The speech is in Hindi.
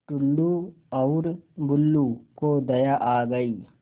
टुल्लु और बुल्लु को दया आ गई